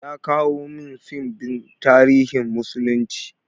Ya kawo min fim ɗin tarihin musulunci.